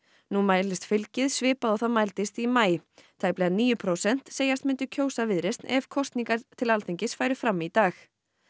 nú mælist fylgið svipað og það mældist í maí tæplega níu prósent segjast myndu kjósa Viðreisn ef kosningar til Alþingis færu fram í dag